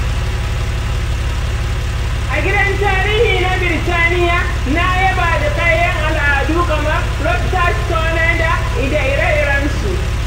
A gidan tarihi na Birtaniya, na yaba da kayan al’adu kamar Rosetta stonenda ire-irensu.